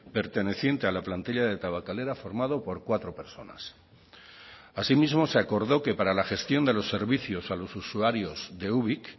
perteneciente a la plantilla de tabakalera formado por cuatro personas asimismo se acordó que para la gestión de los servicios a los usuarios de ubik